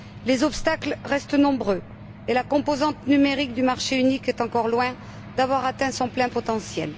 Les obstacles restent nombreux et la composante numérique du marché unique est encore loin d'avoir atteint son plein potentiel.